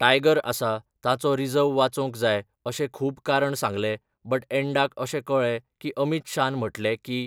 tiger आसा, तांचो रिझव वाचोंक जाय अशें खूब कारण सांगलें बट एंडाक अशें कळें की अमीत शान म्हटलें की